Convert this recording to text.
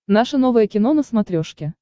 наше новое кино на смотрешке